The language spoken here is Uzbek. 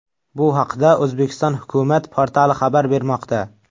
Bu haqda O‘zbekiston hukumat portali xabar bermoqda .